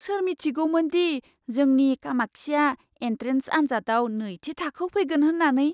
सोर मिथिगौमोनदि जोंनि कामाक्षीया एन्ट्रेन्स आनजादाव नैथि थाखोआव फैगोन होन्नानै?